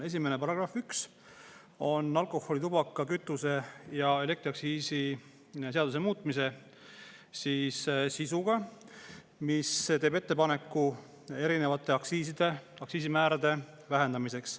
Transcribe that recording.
Esimene, § 1 üks, on alkoholi-, tubaka-, kütuse- ja elektriaktsiisi seaduse muutmise sisuga, mis teeb ettepaneku erinevate aktsiisimäärade vähendamiseks.